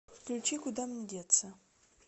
включи куда мне деться